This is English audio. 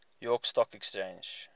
york stock exchange